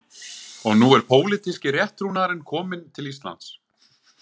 Og nú er pólitíski rétttrúnaðurinn kominn til Íslands.